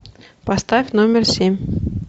поставь номер семь